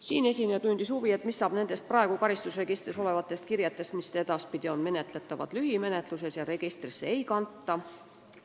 Siinesineja tundis huvi, mis saab praegu karistusregistris olevatest kirjetest, mis fikseerivad juhtumeid, mis edaspidi on menetletavad lühimenetluses ja mida registrisse ei kanta.